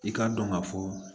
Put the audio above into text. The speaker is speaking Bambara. I k'a dɔn ka fɔ